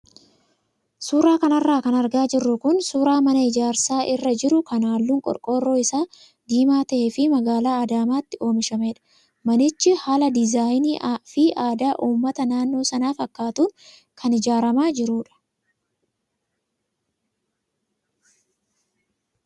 Suuraa kanarra kan argaa jirru kun suuraa mana ijaarsa irra jiru kan halluun qorqoorroo isaa diimaa ta'ee fi magaalaa adaamaatti oomishamedha. Manichi haala diizaayinii fi aadaa uummata naannoo sanaa fakkaatuun kan ijaaramaa jirudha.